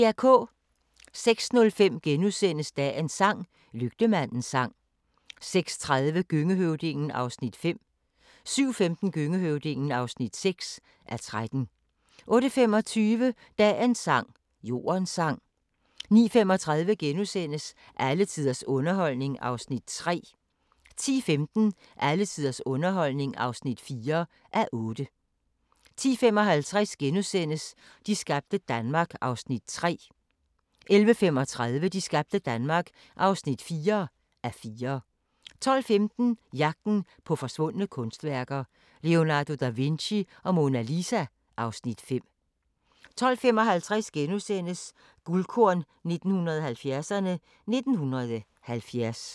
06:05: Dagens sang: Lygtemandens sang * 06:30: Gøngehøvdingen (5:13) 07:15: Gøngehøvdingen (6:13) 08:25: Dagens sang: Jordens sang 09:35: Alle tiders underholdning (3:8)* 10:15: Alle tiders underholdning (4:8) 10:55: De skabte Danmark (3:4)* 11:35: De skabte Danmark (4:4) 12:15: Jagten på forsvundne kunstværker - Leonardo da Vinci og Mona Lisa (Afs. 5) 12:55: Guldkorn 1970'erne: 1970 *